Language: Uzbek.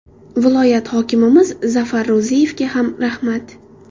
Viloyat hokimimiz Zafar Ro‘ziyevga ham rahmat.